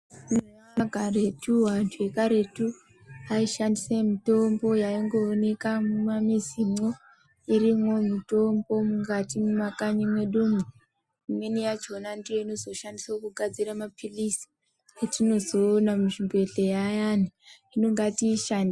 Eya karetu vantu vekaretu vai shandise mutombo yaingo oneka mu mamizi mwo irimwo mitombo mukati mwe makanyi mwedumwo imweni yachona ndiyo inozo shandiswa kugadzira mapilizi etinozo ona mu zvibhehlera ayani hino ngati ishandise.